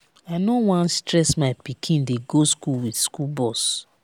i no wan stress my pikin dey go school with school bus.